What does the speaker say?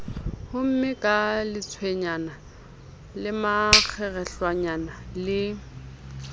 homme ka lentswenyana lemakgerehlwanyana le